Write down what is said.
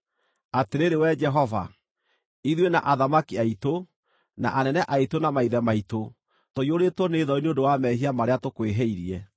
Atĩrĩrĩ Wee Jehova, ithuĩ na athamaki aitũ, na anene aitũ na maithe maitũ tũiyũrĩtwo nĩ thoni nĩ ũndũ wa mehia marĩa tũkwĩhĩirie.